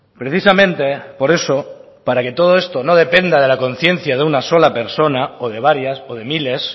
precisamente por eso para que todo esto no dependa de la conciencia de una sola persona o de varias o de miles